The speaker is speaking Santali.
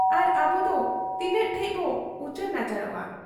ᱟᱨ ᱟᱵᱚᱫᱚ ᱛᱤᱱᱟᱹᱜ ᱴᱷᱮᱫ ᱵᱚ ᱩᱪᱟᱹᱲ ᱱᱟᱪᱟᱲᱚᱜ ᱟ?